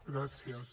gràcies